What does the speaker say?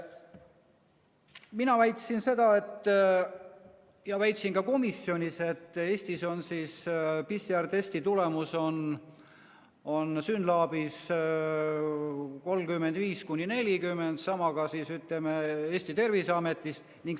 Mina väitsin täna ja väitsin ka komisjonis, et Eestis on PCR‑testi tulemus SYNLAB‑is 35–40, sama ka, ütleme, Eesti Terviseametis.